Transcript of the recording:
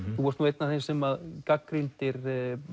þú ert nú einn af þeim sem gagnrýndir